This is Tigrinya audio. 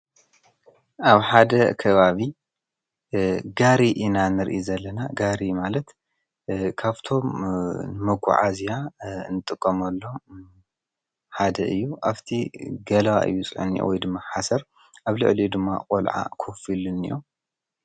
ኣብ ሓደ ከባቢ ጋሪ ኢናንርኢ ዘለና ጋሪ ማለት ካብቶም መጎዓእዝያ እንጥቆም ኣሎ ሓደ እዩ ኣፍቲ ገል ዩፅን ወይድመሓሰር ኣብ ልዕል ድማ ቖልዓ ኽፍሉን እዮም::